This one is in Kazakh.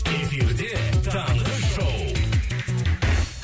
эфирде таңғы шоу